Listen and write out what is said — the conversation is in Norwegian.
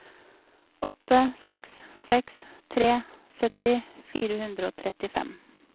åtte seks seks tre sytti fire hundre og trettifem